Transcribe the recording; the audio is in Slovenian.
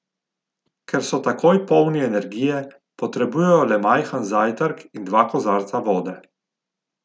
Ker so takoj polni energije, potrebujejo le majhen zajtrk in dva kozarca vode.